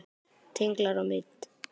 Tenglar og mynd